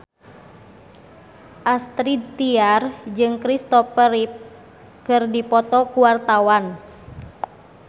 Astrid Tiar jeung Christopher Reeve keur dipoto ku wartawan